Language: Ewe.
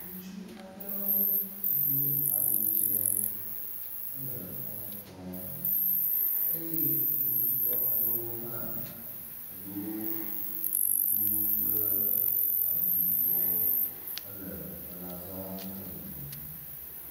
Ŋutsu aɖe edo awu dze hele xɔme kplɔm eye kpovitɔ aɖewo hã edo kuku kple awu yibɔ hele teƒe la zɔm le yiyim.